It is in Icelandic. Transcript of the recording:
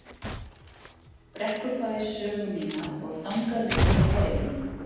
Brekkubæ sögu mína og þangað liggur nú leið mín.